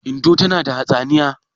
Indo tana da hatsaniya?